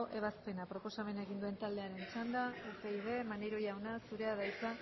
ebazpena proposamen egin duen taldearen txanda upyd maneiro jauna zurea da hitza